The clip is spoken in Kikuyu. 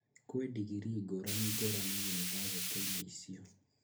Kwĩ ndingirii ngũraningũrani yunibathĩtĩ-inĩ icio